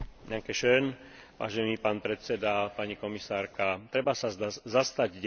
Treba sa zastať detí maloletých bez sprievodu v Európskej únii.